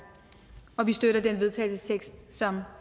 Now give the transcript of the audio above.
og vi støtter den vedtagelsestekst som